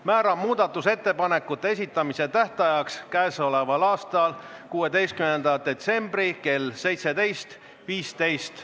Määran muudatusettepanekute esitamise tähtajaks k.a 16. detsembri kell 17.15.